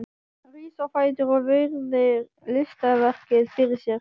Rís á fætur og virðir listaverkið fyrir sér.